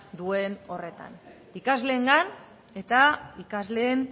duen horretan ikasleengan eta ikasleen